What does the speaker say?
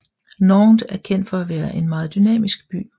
Nantes er kendt for at være en meget dynamisk by